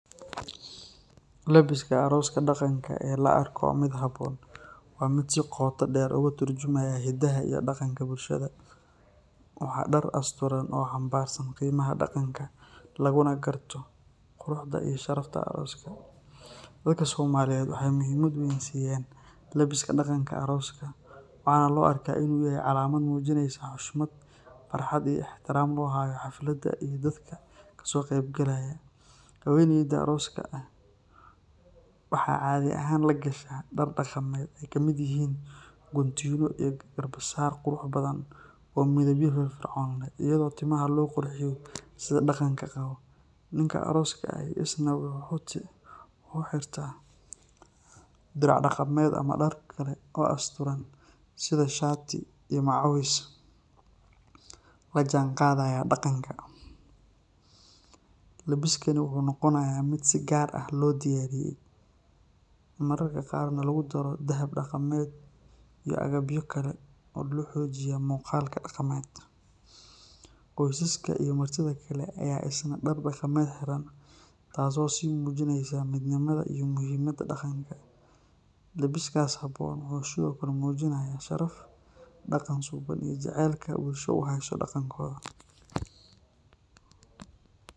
Labiska arooska dhaqanka ee la arko mid habboon waa mid si qoto dheer uga turjumaya hidaha iyo dhaqanka bulshada. Waa dhar asturan oo xambaarsan qiimaha dhaqanka, laguna garto quruxda iyo sharafta arooska. Dadka Soomaaliyeed waxay muhiimad weyn siiyaan labiska dhaqanka arooska, waxaana loo arkaa inuu yahay calaamad muujinaysa xushmad, farxad iyo ixtiraam loo hayo xafladda iyo dadka ka soo qeyb galaya. Haweeneyda arooska ah waxaa caadi ahaan la gashaa dhar dhaqameed ay ka mid yihiin guntiino iyo garbasaar qurux badan oo midabyo firfircoon leh, iyadoo timaha loo qurxiyo sida dhaqanka qabo. Ninka arooska ah isna wuxuu xirtaa dirac dhaqameed ama dhar kale oo asturan sida shaati iyo macawis la jaanqaadaya dhaqanka. Labiskani wuxuu noqonayaa mid si gaar ah loo diyaariyay, mararka qaarna lagu daro dahab dhaqameed iyo agabyo kale oo xoojiya muuqaalka dhaqameed. Qoysaska iyo martida kale ayaa isna dhar dhaqameed xiran, taasoo sii muujinaysa midnimada iyo muhiimadda dhaqanka. Labiskaas habboon wuxuu sidoo kale muujinayaa sharaf, dhaqan suuban iyo jacaylka bulsho u hayso dhaqankooda.